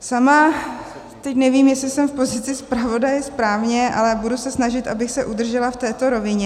Sama teď nevím, jestli jsem v pozici zpravodaje správně, ale budu se snažit, abych se udržela v této rovině.